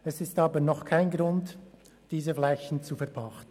Dies ist aber noch kein Grund, diese Flächen zu verpachten.